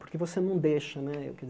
Porque você não deixa, né?